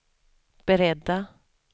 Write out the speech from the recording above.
beredda